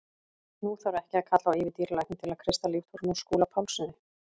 Nú þarf ekki að kalla á yfirdýralækni til að kreista líftóruna úr Skúla Pálssyni.